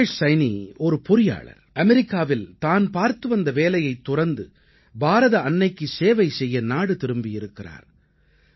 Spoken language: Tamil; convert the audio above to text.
யோகேஷ் சைனீ ஒரு பொறியாளர் அமெரிக்காவில் தான் பார்த்து வந்த வேலையைத் துறந்து பாரத அன்னைக்கு சேவை செய்ய நாடு திரும்பியிருக்கிறார்